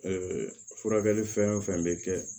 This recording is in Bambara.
furakɛli fɛn o fɛn bɛ kɛ